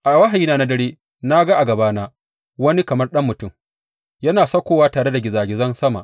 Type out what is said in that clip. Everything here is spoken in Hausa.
A wahayina na dare, na ga a gabana wani kamar ɗan mutum yana saukowa tare da gizagizan sama.